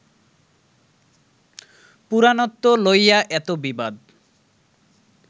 পুরাণত্ব লইয়া এত বিবাদ